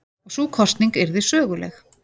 Og sú kosning yrði söguleg.